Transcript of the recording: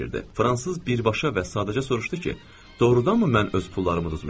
Fransız birbaşa və sadəcə soruşdu ki, doğurdanmı mən öz pullarımı udmuşam?